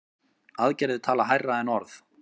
Aðgerðir tala hærra en orð.